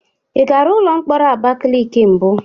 Ị gara ụlọ mkpọrọ Abakiliki mbụ?